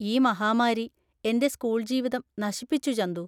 ഈ മഹാമാരി എന്‍റെ സ്കൂൾ ജീവിതം നശിപ്പിച്ചു, ചന്തു.